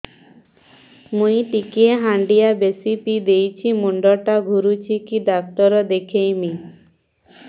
ମୁଇ ଟିକେ ହାଣ୍ଡିଆ ବେଶି ପିଇ ଦେଇଛି ମୁଣ୍ଡ ଟା ଘୁରୁଚି କି ଡାକ୍ତର ଦେଖେଇମି